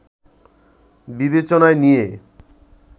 বিবেচনায় নিয়ে